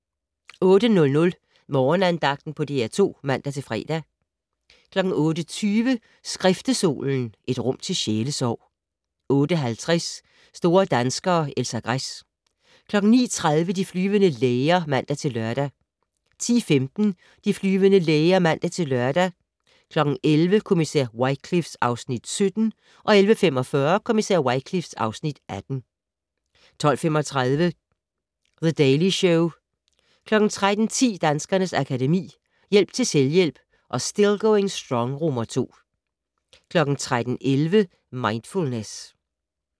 08:00: Morgenandagten på DR2 (man-fre) 08:20: Skriftestolen - et rum til sjælesorg 08:50: Store danskere - Elsa Gress 09:30: De flyvende læger (man-lør) 10:15: De flyvende læger (man-lør) 11:00: Kommissær Wycliffe (Afs. 17) 11:45: Kommissær Wycliffe (Afs. 18) 12:35: The Daily Show 13:10: Danskernes Akademi: Hjælp til selvhjælp og Still Going Strong II 13:11: Mindfulness